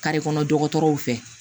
kɔnɔ dɔgɔtɔrɔw fɛ